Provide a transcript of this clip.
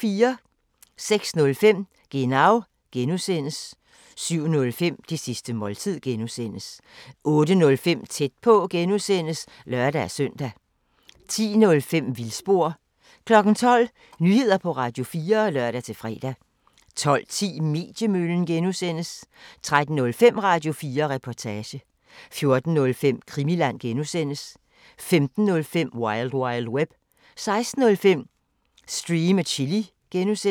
06:05: Genau (G) 07:05: Det sidste måltid (G) 08:05: Tæt på (G) (lør-søn) 10:05: Vildspor 12:00: Nyheder på Radio4 (lør-fre) 12:10: Mediemøllen (G) 13:05: Radio4 Reportage 14:05: Krimiland (G) 15:05: Wild Wild Web 16:05: Stream & Chill (G)